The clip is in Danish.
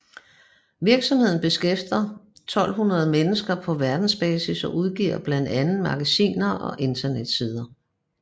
Virksomheden beskæftiger over 1200 mennesker på verdensbasis og udgiver blandt andet magasiner og internetsider